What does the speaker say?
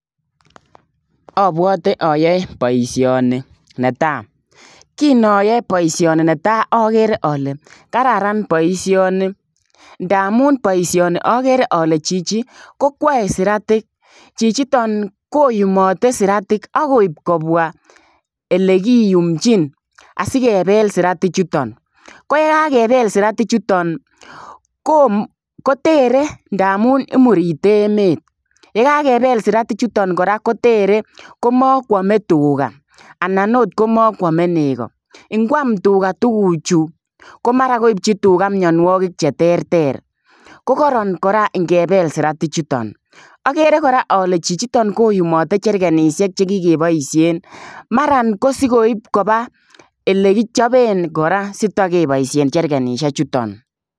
Abwote ayoen boisionik netai, kinoyor boisioni netai ager ale kararan boisioni ndamun boisioniagere ale chichi kokwee siratik chichiton koyumotei siratik akoip kopwa olekiyumchin asikebel siratik chuton koyakebel siratik chuton koteren ndanan imurite emet, ndakakebel siratik chuton kora koterei makwome tuga anan akot makwem nego ngwam tuga tuguchu komara kopchin tuga imnyonwogik cheterter kokoron kora ngebel siratik chuton. Agere kora ale chichiton koyumotei jergenisiek chekikepaisie mara sikoip kopa ole kichapen kora sikepaishe jergenisiek chuton